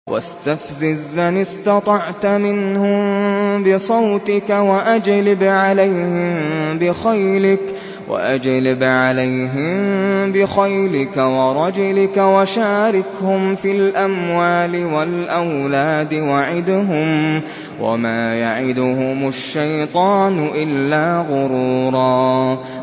وَاسْتَفْزِزْ مَنِ اسْتَطَعْتَ مِنْهُم بِصَوْتِكَ وَأَجْلِبْ عَلَيْهِم بِخَيْلِكَ وَرَجِلِكَ وَشَارِكْهُمْ فِي الْأَمْوَالِ وَالْأَوْلَادِ وَعِدْهُمْ ۚ وَمَا يَعِدُهُمُ الشَّيْطَانُ إِلَّا غُرُورًا